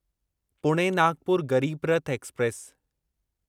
Pune Nagpur Garib Rath express